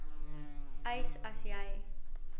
eis as jy